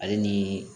Ale ni